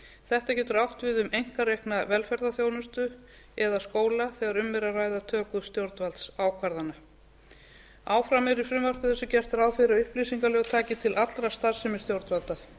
þetta getur átt við um einkarekna velferðarþjónustu eða skóla þegar um er að ræða töku stjórnvaldsákvarðana ákvæði er í frumvarpinu þar sem gert er ráð fyrir að upplýsingalög taki til allra starfsemi stjórnvalda